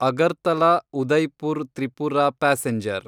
Agartala Udaipur Tripura passenger